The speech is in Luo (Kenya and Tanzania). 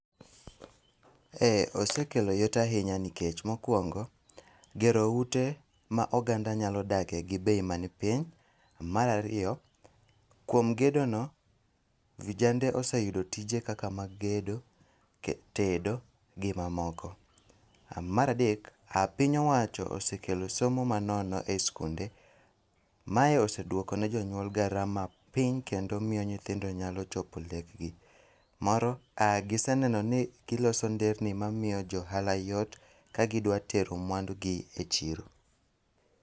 Ee osekelo yot ahinya nikech mokuongo, gero ute ma oganda nyalo dakie gi bei man piny. Mar ariyo, kuom gedo no, vijande ose yudo tije kaka mag gedo, tedo gi mamoko. Mar adek, piny owacho osekelo somo manono e sikunde. Mae oseduoko ne jonyuol garama piny kendo miyo nyithindo nyalo chopo lek gi. Moro, giseneno ni giloso nder ni ma miyo jo ohala yot kagidwa tero mwandugi e chiro.